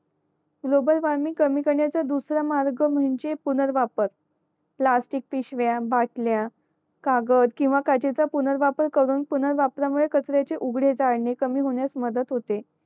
global warming कमी करण्याचा दुसरा मार्ग म्हणजे पूणर वापर प्लास्टिक पिशव्या बाटल्या कागद किंवा कांचेचा पुनर्वापर करून पुनर्वापर मुळे कचऱ्याचे उघडे जाळने कमी होण्यास मदत होते